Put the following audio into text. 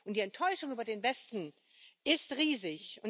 Die Enttäuschung über den Westen ist riesig.